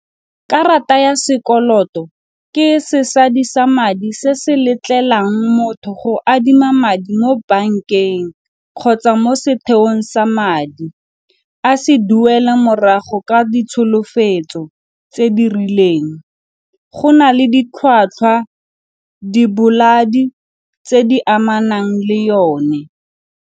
Karata ya sekoloto ke sesadisa madi se se letlelang motho go adima madi mo bankeng kgotsa mo setheong sa madi a se duela morago ka ditsholofetso tse di rileng. Go na le ditlhwatlhwa tse di amanang le yone.